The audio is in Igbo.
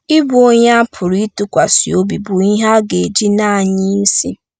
Ịbụ onye a pụrụ ịtụkwasị obi bụ ihe a ga-eji na-anya isi.